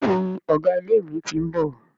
Béèni Ọgá ilé ìwé t'in bò